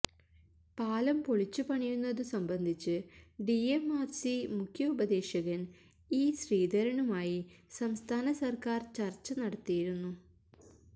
പാലം പൊളിച്ചുപണിയുന്നതു സംബന്ധിച്ച് ഡിഎംആർസി മുഖ്യ ഉപദേശകൻ ഇ ശ്രീധരനുമായി സംസ്ഥാന സർക്കാർ ചർച്ച നടത്തിയിരുന്നു